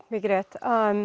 mikið rétt